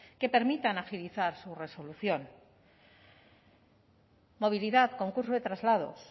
que permitan agilizar su resolución movilidad concurso de traslados